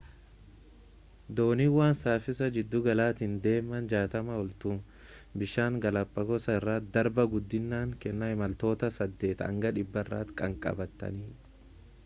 dooniiwwan saffisa giddugalaatiin deeman 60 ol tu bishaan galaapaagoos irra darba guddinaan kanneen imaltoota 8 hanga 100 tti kanqabataniitti